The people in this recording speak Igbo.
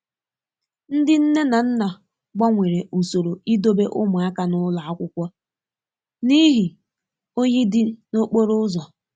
Ndị nne na nna gbanwere usoro idobe ụmụaka n'ụlọ akwụkwọ n'ihi oyi dị n'okporo ụzọ.